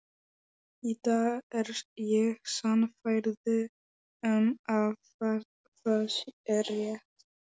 Í dag er ég sannfærð um að það er rétt.